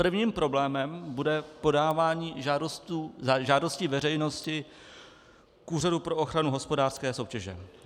Prvním problémem bude podávání žádosti veřejnosti k Úřadu pro ochranu hospodářské soutěže.